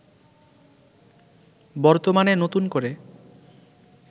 বর্তমানে নতুন করে